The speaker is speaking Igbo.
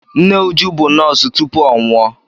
Nne Uju bụ nọọsụ tupu ọ nwụọ.